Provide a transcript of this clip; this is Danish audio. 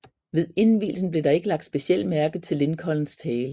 Ved indvielsen blev der ikke lagt specielt mærke til Lincolns tale